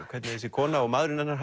hvernig þessi kona og maðurinn hennar